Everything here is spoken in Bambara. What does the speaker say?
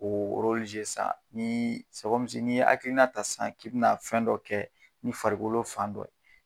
K'o san n'ii n'i ye hakilina ta san k'i bɛ na fɛn dɔ kɛ ni farikolo fan dɔ ye